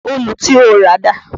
Òòlù tí o rà dà?